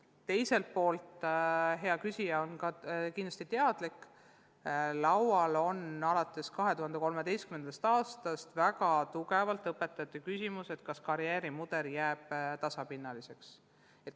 Teiselt poolt, ka hea küsija on kindlasti teadlik, et alates 2013. aastast on arutelul küsimus, kas õpetajate karjäärimudel jääb tasapinnaliseks.